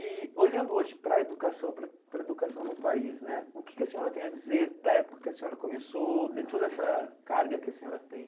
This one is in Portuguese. E olhando hoje para a educação para para a educação no país né, o que que a senhora tem a dizer da época que a senhora começou, de toda essa carga que a senhora tem?